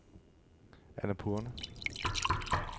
Annapurne